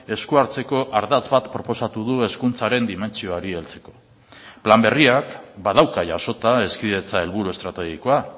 esku hartzeko ardatz bat proposatu du hezkuntzaren dimentsioari heltzeko plan berriak badauka jasota hezkidetza helburu estrategikoa